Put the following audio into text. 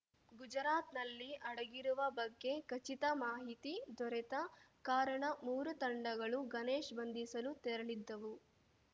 ಗುಜರಾತ್‌ನಲ್ಲಿ ಅಡಗಿರುವ ಬಗ್ಗೆ ಖಚಿತ ಮಾಹಿತಿ ದೊರೆತ ಕಾರಣ ಮೂರು ತಂಡಗಳು ಗಣೇಶ್‌ ಬಂಧಿಸಲು ತೆರಳಿದ್ದವು